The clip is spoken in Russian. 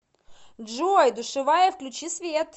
джой душевая включи свет